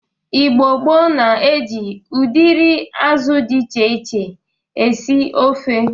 Igbo gboo na-eji ụdịrị azụ dị iche iche esi ofe.